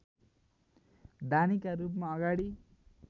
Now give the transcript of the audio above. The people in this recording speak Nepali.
दानीका रूपमा अगाडि